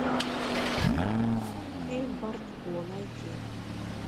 фильм бартко найти